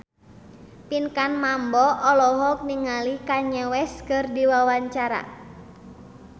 Pinkan Mambo olohok ningali Kanye West keur diwawancara